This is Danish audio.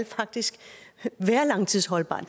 faktisk skal være langtidsholdbart og